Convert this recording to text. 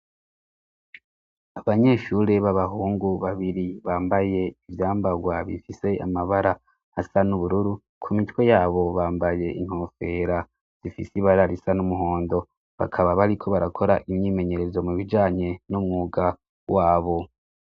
Abanyeshure b'abahungu babiri bambaye ivyambarwa bifise amabara asa n'ubururu ku mitwe yabo bambaye inkofera zifise ibararisa n'umuhondo bakaba bariko barakora imyimenyerezo mu bijanye n'umwuga wabo.